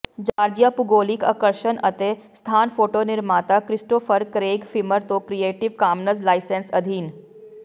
Georgia ਭੂਗੋਲਿਕ ਆਕਰਸ਼ਣ ਅਤੇ ਸਥਾਨ ਫੋਟੋ ਨਿਰਮਾਤਾ ਕ੍ਰਿਸਟੋਫਰ ਕਰੇਗ ਫਿਮਰ ਤੋਂ ਕਰੀਏਟਿਵ ਕਾਮਨਜ਼ ਲਾਇਸੈਂਸ ਅਧੀਨ